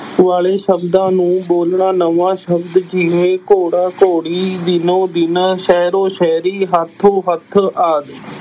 ਵਾਲੇ ਸ਼ਬਦਾਂ ਨੂੰ ਬੋਲਣਾ ਨਵਾਂ ਸ਼ਬਦ ਜਿਵੇਂ ਘੋੜਾ ਘੋੜੀ, ਦਿਨੋ ਦਿਨ, ਸ਼ਹਿਰੋ ਸ਼ਹਿਰੀ, ਹੱਥੋਂ ਹੱਥ ਆਦਿ।